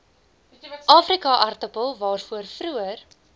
afrikaaartappel waarvoor vroeër